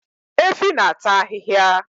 Efi na-ata ahịhịa